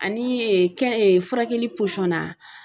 Ani kɛn furakɛli na